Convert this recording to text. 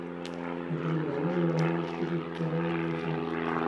Waxaan jeclaan lahaa tigidh tareen meeshan